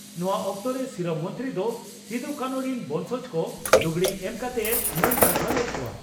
ᱱᱚᱣᱟ ᱚᱠᱛᱚᱨᱮ ᱥᱤᱨᱟᱹ ᱢᱚᱱᱛᱨᱤ ᱫᱚ ᱥᱤᱫᱩ ᱠᱟᱹᱱᱦᱩ ᱨᱤᱱ ᱵᱚᱸᱝᱥᱚᱡᱽ ᱠᱚ ᱞᱩᱜᱽᱲᱤ ᱮᱢ ᱠᱟᱛᱮᱭ ᱢᱟᱹᱱ ᱥᱟᱨᱦᱟᱣ ᱞᱮᱫ ᱠᱚᱣᱟ ᱾